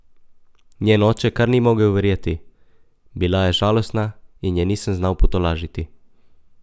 Njen oče kar ni mogel verjeti: "Bila je žalostna in je nisem znal potolažiti.